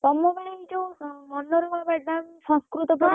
ତମ ବେଳେ ଯଉ ମନୋରମା madam ସଂସ୍କୃତ ପଢାନ୍ତି।